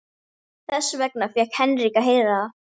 Þess vegna fékk Henrik að heyra það.